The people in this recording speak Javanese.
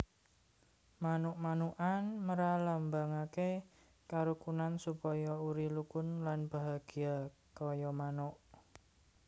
Manuk manukan mralambangake karukunan supaya uri rukun lan bahagya kaya manuk